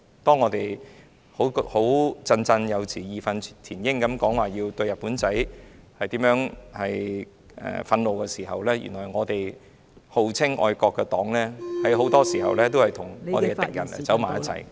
當大家振振有詞、義憤填膺地表達對"日本仔"的憤怒時，原來我們號稱愛國的黨......很多時候也與我們的敵人走在一起......